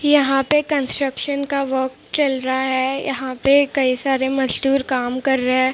यहां पे कंस्ट्रक्शन का वर्क चल रहा है यहां पे कई सारे मजदूर काम कर रहे है।